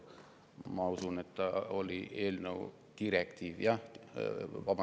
Ma usun, et see oli direktiivi eelnõu.